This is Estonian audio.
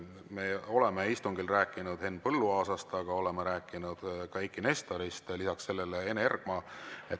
Me oleme istungil rääkinud Henn Põlluaasast, aga oleme rääkinud ka Eiki Nestorist, lisaks sellele Ene Ergmast.